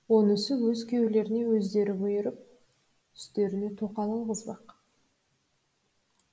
онысы өз күйеулеріне өздері бұйырып үстеріне тоқал алғызбақ